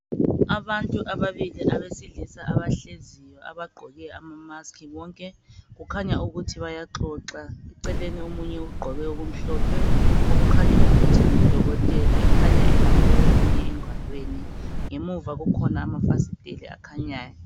Ababili abesilisa abahleziyo abagqoke amamusk bonke kukhanya ukuthi baxoxa eceleni omunye ugqoke okumhlophe okukhanya ukuthi ngudokotela ekhanya ebambe omunye engalweni ngemuva kukhona amanye amafasteli akhanyayo